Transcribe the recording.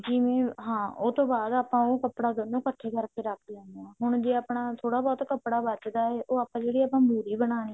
ਜਿਵੇਂ ਹਾਂ ਉਹਤੋਂ ਬਾਅਦ ਆਪਾਂ ਉਹ ਕੱਪੜਾ ਦੋਨੋ ਕੱਠੇ ਕਰ ਕਿ ਰੱਖ ਲੈਣੇ ਹਾਂ ਹੁਣ ਜੇ ਆਪਣਾ ਥੋੜਾ ਬਹੁਤ ਕੱਪੜਾ ਬਚਦਾ ਹੈ ਉਹ ਆਪਾਂ ਜਿਦੀ ਆਪਾਂ ਮੁਹਰੀ ਬਣਾ ਦੇਣੀ ਆ